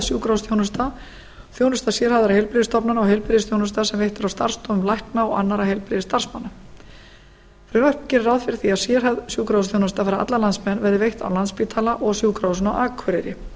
sjúkrahúsþjónusta þjónusta sérhæfðra heilbrigðisstofnana og heilbrigðisþjónusta sem veitt er á starfsstofum lækna og annarra heilbrigðisstarfsmanna frumvarpið gerir ráð fyrir því að sérhæfð sjúkrahúsþjónusta fyrir alla landsmenn verði veitt á landspítala og sjúkrahúsinu á akureyri